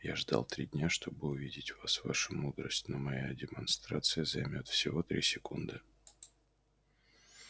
я ждал три дня чтобы увидеть вас ваша мудрость но моя демонстрация займёт всего три секунды